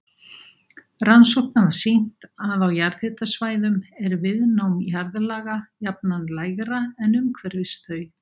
Rannsóknir hafa sýnt að á jarðhitasvæðum er viðnám jarðlaga jafnan lægra en umhverfis þau.